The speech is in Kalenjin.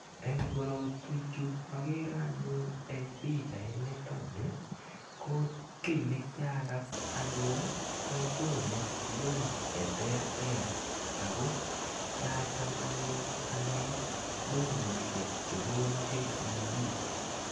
Eng' korotwechu akere anyun eng' pichaintani ko ki ne kiakas anyun ko konu loan che terter ako kiacham anyun ane lonishek che kona KCB.